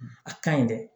A ka ɲi dɛ